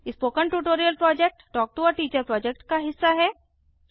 spoken tutorial project talk to a teacher project का हिस्सा है